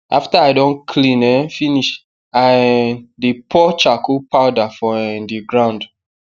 after i don clean um finish i um dey pour charcoal powder for um the ground